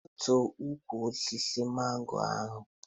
Gbutuo ukwu osisi mango ahụ!